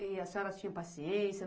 E a senhoras tinha paciência?